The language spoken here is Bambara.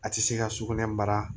A tɛ se ka sugunɛ bara